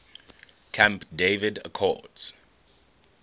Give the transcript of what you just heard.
camp david accords